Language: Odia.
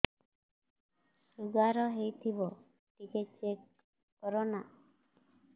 ଶୁଗାର ହେଇଥିବ ଟିକେ ଚେକ କର ନା